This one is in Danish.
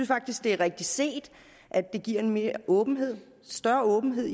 faktisk det er rigtigt set at det giver mere åbenhed større åbenhed